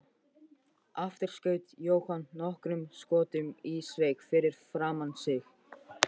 Aftur skaut Jóhann nokkrum skotum í sveig fyrir framan sig.